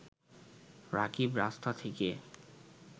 রাকিব রাস্তা থেকে